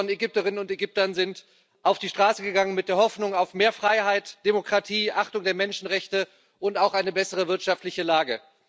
Millionen von Ägypterinnen und Ägyptern sind auf die Straße gegangen mit der Hoffnung auf mehr Freiheit, Demokratie, Achtung der Menschenrechte und auch eine bessere wirtschaftliche Lage.